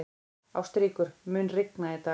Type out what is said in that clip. Ástríkur, mun rigna í dag?